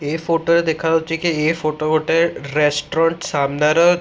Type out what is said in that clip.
ଏ photo ରେ ଦେଖାଯାଉଛି କି ଏ ଫୋଟୋ ଗୋଟେ ରେଷ୍ଟ୍ୟୁରାଣ୍ଟ୍ ସାମ୍ନାର--।